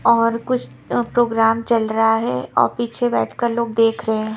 और कुछ प्रोग्राम चल रहा है और पीछे बैठकर लोग देख रहे हैं।